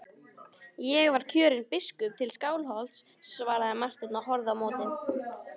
Ég var kjörinn biskup til Skálholts, svaraði Marteinn og horfði á móti.